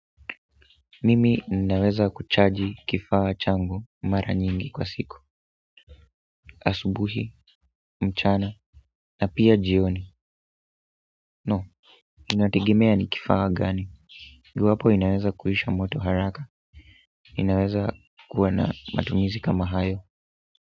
Mimi ninaweza kuchaji kifaa changu mara nyingi kwa siku. Asubuhi, mchana, na pia jioni. No, inategemea ni kifaa gani, iwapo inaweza kuisha moto haraka inaweza kuwa na matumizi kama hayo.